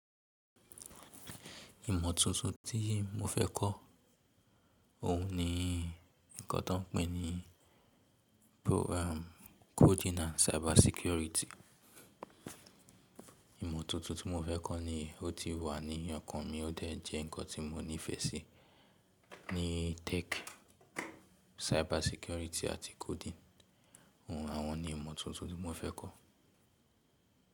Ìmọ̀ tuntun tí mo fẹ́ kọ́ òun ni ǹkan tá ń pè ní coding and cyber security. Ìmọ̀ tuntun tí mo fẹ́ kọ́ ni ó ti wà ní ọkàn mi, ó dẹ̀ jẹ́ ǹkan tí mo níìfẹ̀sí ní tech, cyber security àti coding. Àwọn ni ìmọ́tótó tí mo fẹ́ kọ́.